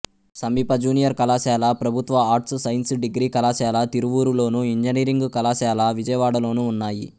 సమీప జూనియర్ కళాశాల ప్రభుత్వ ఆర్ట్స్ సైన్స్ డిగ్రీ కళాశాల తిరువూరులోను ఇంజనీరింగ్ కళాశాల విజయవాడలోనూ ఉన్నాయి